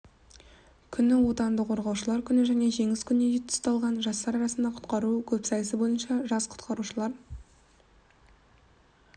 күні отанды қорғаушылар күні және жеңіс күніне тұсталған жастар арасында құтқару көпсайысы бойынша жас құтқарушылар